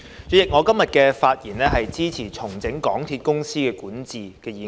主席，我今天發言支持"重整港鐵公司管治"的議案。